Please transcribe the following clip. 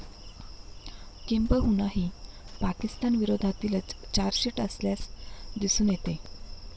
किंबहुना ही पाकिस्तान विरोधातीलच चार्जशिट असल्यास दिसून येतंय.